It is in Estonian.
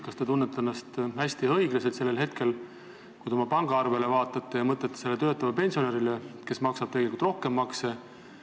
Kas te tunnete ennast hästi, kui oma pangaarvet vaatate ja mõtlete töötavale pensionärile, kes maksab teist rohkem makse?